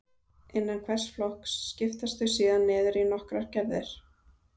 Innan hvers flokks skiptast þau síðan niður í nokkrar gerðir.